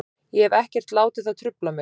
Ég hef ekkert látið það trufla mig.